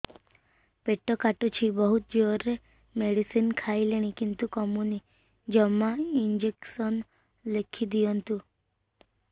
ପେଟ କାଟୁଛି ବହୁତ ଜୋରରେ ମେଡିସିନ ଖାଇଲିଣି କିନ୍ତୁ କମୁନି ଜମା ଇଂଜେକସନ ଲେଖିଦିଅନ୍ତୁ